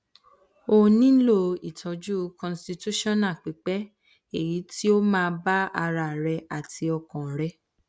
o nilo itọju constitutional pipe eyi ti o ma ba ara re ati ọkan re